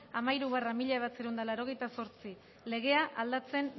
hamairu barra mila bederatziehun eta laurogeita zortzi legea aldatzen